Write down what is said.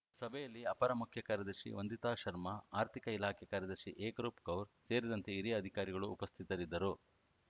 ಸಭೆಯಲ್ಲಿ ಅಪರ ಮುಖ್ಯ ಕಾರ್ಯದರ್ಶಿ ವಂದಿತಾ ಶರ್ಮ ಆರ್ಥಿಕ ಇಲಾಖೆ ಕಾರ್ಯದರ್ಶಿ ಏಕ್‌ರೂಪ್‌ ಕೌರ್‌ ಸೇರಿದಂತೆ ಹಿರಿಯ ಅಧಿಕಾರಿಗಳು ಉಪಸ್ಥಿತರಿದ್ದರು